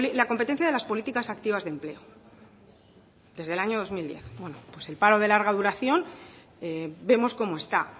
las competencias de las políticas activas de empleo desde el año pues bueno el paro de larga duración vemos cómo está